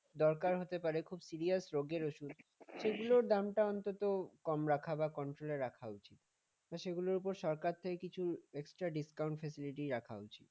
দরকার হতে পারে খুব serious রোগের ওষুধ সেগুলোর দামটা অন্তত কম রাখা বা control এ রাখা উচিত সেগুলোর উপর সরকার থেকে কিছু extra discount facility রাখা উচিত